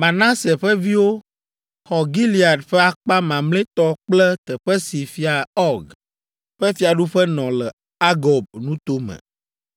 Manase ƒe viwo xɔ Gilead ƒe akpa mamlɛtɔ kple teƒe si Fia Ɔg ƒe fiaɖuƒe nɔ le Argob nuto me.